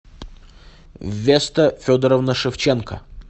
веста федоровна шевченко